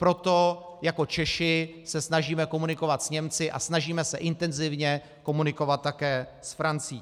Proto jako Češi se snažíme komunikovat s Němci a snažíme se intenzivně komunikovat také s Francií.